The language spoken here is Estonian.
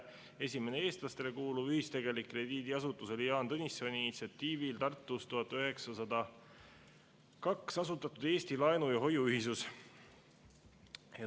Esimene eestlastele kuuluv ühistegelik krediidiasutus oli Jaan Tõnissoni initsiatiivil Tartus 1902 asutatud Eesti Laenu- ja Hoiu-Ühisus.